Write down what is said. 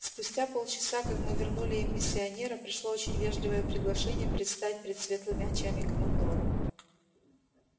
спустя полчаса как мы вернули им миссионера пришло очень вежливое приглашение предстать пред светлыми очами командора